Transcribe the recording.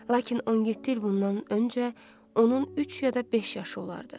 Lakin 17 il bundan öncə onun üç ya da beş yaşı olardı.